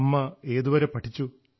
അമ്മ ഏതുവരെ പഠിച്ചു